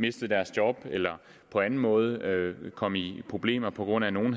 mistede deres job eller på anden måde kom i problemer på grund af at nogle